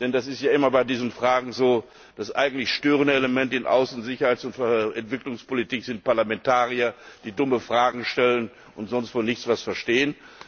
Denn das ist ja immer bei diesen Fragen so Das eigentlich störende Element in Außen Sicherheits und Entwicklungspolitik sind Parlamentarier, die dumme Fragen stellen und sonst von nichts etwas verstehen.